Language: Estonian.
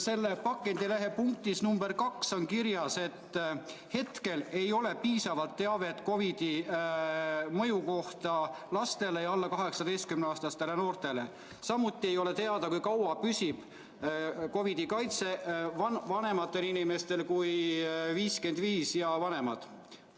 Selle infolehe punktis nr 2 on kirjas, et hetkel ei ole piisavalt teavet, kuidas mõjub COVID lastele ja alla 18‑aastastele noortele, samuti ei ole teada, kui kaua püsib COVID‑i eest kaitse vanematel kui 55‑aastastel inimestel.